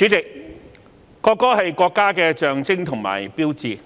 主席，國歌是國家的象徵和標誌，《